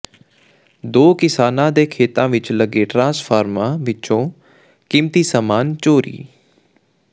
ਦੋ ਕਿਸਾਨਾਂ ਦੇ ਖੇਤਾਂ ਵਿਚ ਲੱਗੇ ਟਰਾਂਸਫਾਰਮਾਂ ਵਿੱਚੋਂ ਕੀਮਤੀ ਸਮਾਨ ਚੋਰੀ